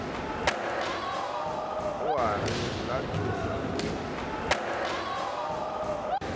o a re latola o